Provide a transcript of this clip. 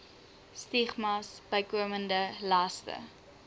stigmas bykomende laste